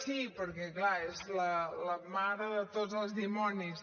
sí perquè clar és la mare de tots els dimonis